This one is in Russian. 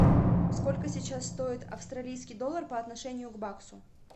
сколько сейчас стоит австралийский доллар по отношению к баксу